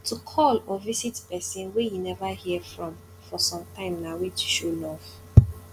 to call or visit persin wey you never hear from for sometime na way to show love